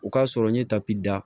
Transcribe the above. O k'a sɔrɔ n ye tapida